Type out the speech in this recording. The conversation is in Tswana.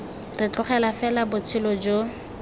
re tlogela fela botshelo jo